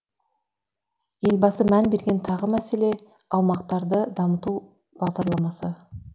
елбасы мән берген тағы мәселе аумақтарды дамыту бағдарламасы